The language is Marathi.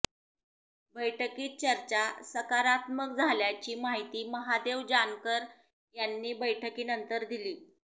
बैठकीत चर्चा सकारात्मक झाल्याची माहिती महादेव जानकर यांनी बैठकीनंतर दिली